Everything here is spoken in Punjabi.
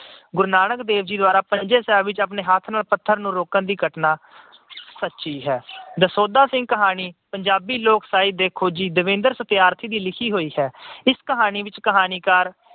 ਗੁਰੂ ਨਾਨਕ ਦੇਵ ਜੀ ਦੁਆਰਾ ਪੰਜਾ ਸਾਹਿਬ ਵਿਖੇ ਆਪਣੇ ਹੱਥ ਨੂੰ ਰੋਕਣ ਦੀ ਘਟਨਾ ਸੱਚੀ ਹੈ। ਦਸੌਂਧਾ ਦੀ ਕਹਾਣੀ ਪੰਜਾਬੀ ਲੋਕ ਸਾਹਿਤ ਦੇ ਖੋਜੀ ਦਵਿੰਦਰ ਸਥਿਆਰਥੀ ਦੀ ਲਿਖੀ ਹੋਈ ਹੈ। ਇਸ ਕਹਾਣੀ ਵਿੱਚ ਕਹਾਣੀਕਾਰ